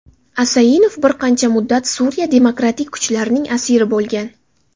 Asainov bir qancha muddat Suriya demokratik kuchlarining asiri bo‘lgan.